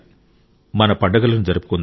మన పండుగలను జరుపుకుందాం